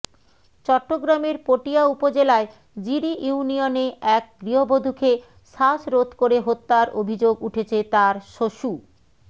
চট্টগ্রামের পটিয়া উপজেলায় জিরি ইউনিয়নে এক গৃহবধূকে শ্বাসরোধ করে হত্যার অভিযোগ উঠেছে তার শশু